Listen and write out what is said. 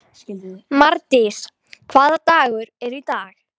Mardís, hvaða dagur er í dag?